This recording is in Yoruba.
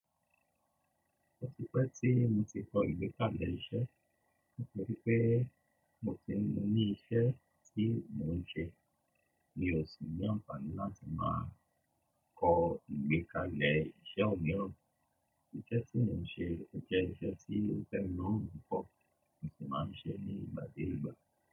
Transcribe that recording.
O ti pẹ́ tí mo ti kọ ìgbẹ́kalẹ̀ iṣẹ́, mo rí pé mo ti mọ ní iṣẹ́ tí mò ń ṣe. Mi ò sì ní àǹfààní láti máa kọ ìgbẹ́kalẹ̀ iṣẹ́ ọ̀miran. Iṣẹ́ tí mò ń ṣe o jẹ́ iṣẹ́ tí ó tẹ́ mi lòrun pupo, mo sì máa ń ṣe é ní ìgbà dé ìgbà.